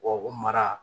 o mara